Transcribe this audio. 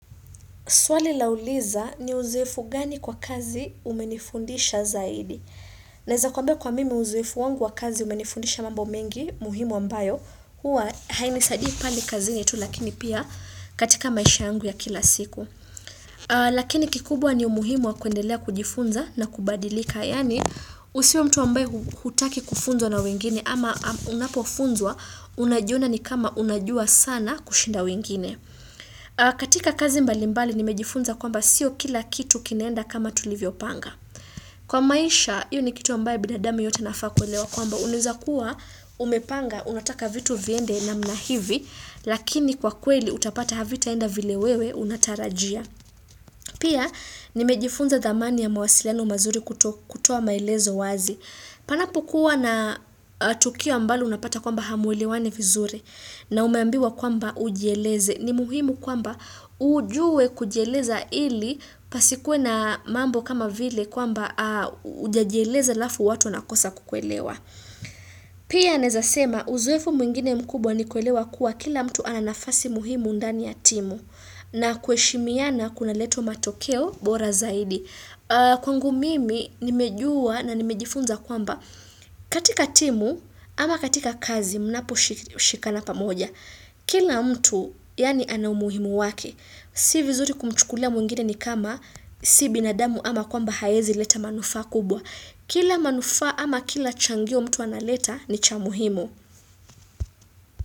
Swali lauliza ni uzoefu gani kwa kazi umenifundisha zaidi. Na eza kwambia kwa mimi uzoefu wangu wa kazi umenifundisha mambo mengi muhimu ambayo. Huwa hainisadii pale kazini tu lakini pia katika maisha angu ya kila siku. Lakini kikubwa ni umuhimu wa kuendelea kujifunza na kubadilika. Yani usiwe mtu ambaye hutaki kufunzwa na wengine ama unapo funzwa unajiona ni kama unajua sana kushinda wengine. Katika kazi mbali mbali nimejifunza kwamba sio kila kitu kinaenda kama tulivyo panga Kwa maisha, hio ni kitu ambaye bidadami yote anafaa kuelewa kwamba unaeza kuwa umepanga unataka vitu viende na mnahivi Lakini kwa kweli utapata havita enda vile wewe unatarajia Pia nimejifunza dhamani ya mawasiliano mazuri kuto kutoa maelezo wazi Panapokuwa na tukio ambalo unapata kwamba hameulewani vizuri na umeambiwa kwamba ujieleze ni muhimu kwamba ujue kujieleza ili pasikuwe na mambo kama vile kwamba ujajieleza lafu watu wanakosa kukuelewa. Pia naezasema uzoefu mwingine mkubwa ni kuelewa kuwa kila mtu ananafasi muhimu ndani ya timu na kueshimiana kuna leta matokeo bora zaidi. Kwangu mimi nimejua na nimejifunza kwamba katika timu ama katika kazi mnapo shi shikana pamoja. Kila mtu yani ana umuhimu wake Si vizuri kumchukulia mwingine ni kama Si binadamu ama kwamba haezi leta manufaa kubwa Kila manufaa ama kila changio mtu analeta ni chamuhimu.